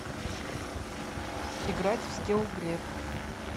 играть в скилл глеб